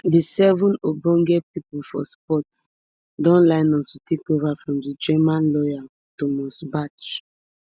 di seven ogbonge pipo for sports don line up to take over from di german lawyer thomas bach